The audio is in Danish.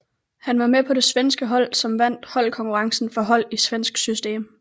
Han var med på det svenske hold som vandt holdkonkurrencen for hold i svensk system